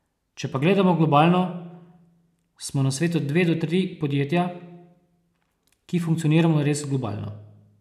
Če pa gledamo globalno, smo na svetu dve do tri podjetja, ki funkcioniramo res globalno.